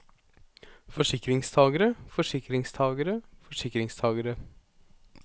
forsikringstagere forsikringstagere forsikringstagere